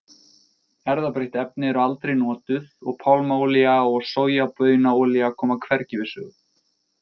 Erfðabreytt efni eru aldrei notuð og pálmaolía og sojabaunaolía koma hvergi við sögu.